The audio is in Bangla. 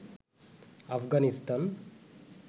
আফগানিস্তান